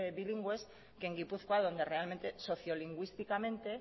bilingües que en gipuzkoa donde realmente socio lingüísticamente